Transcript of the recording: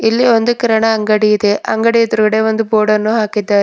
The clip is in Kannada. ಇಲ್ಲಿ ಒಂದು ಕಿರಾಣ ಅಂಗಡಿ ಇದೆ ಅಂಗಡಿ ಎದ್ರುಗಡೆ ಒಂದು ಬೋರ್ಡನ್ನು ಹಾಕಿದ್ದಾರೆ.